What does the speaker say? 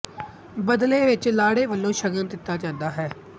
ਬਦਲੇ ਵਿੱਚ ਲਾੜੇ ਵਲੋਂ ਸ਼ਗਨ ਦਿੱਤਾ ਜਾਂਦਾ ਹੈ